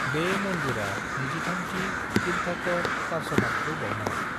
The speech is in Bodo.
बे मनदिरा 23 थि तीर्थंकर पार्श्वनाथखौ बावनाय ।